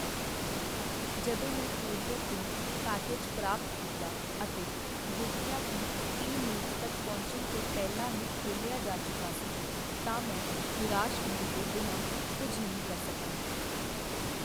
ਜਦੋਂ ਮੈਂ ਕੋਰੀਅਰ ਤੋਂ ਪੈਕੇਜ ਪ੍ਰਾਪਤ ਕੀਤਾ ਅਤੇ ਦੇਖਿਆ ਕੀ ਇਹ ਮੇਰੇ ਤੱਕ ਪਹੁੰਚਣ ਤੋਂ ਪਹਿਲਾਂ ਹੀ ਖੋਲ੍ਹਿਆ ਜਾ ਚੁੱਕਾ ਸੀ ਤਾਂ ਮੈਂ ਨਿਰਾਸ਼ ਹੋਣ ਤੋਂ ਬਿਨਾਂ ਕੁੱਝ ਨਹੀਂ ਕਰ ਸਕੀਆ।